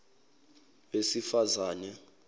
wesifazane